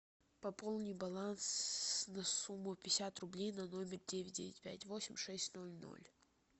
пополни баланс на сумму пятьдесят рублей на номер девять девять пять восемь шесть ноль ноль